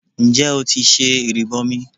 Ǹjẹ́ o ti ṣe ìrìbọmi?